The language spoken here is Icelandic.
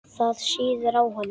Það sýður á honum.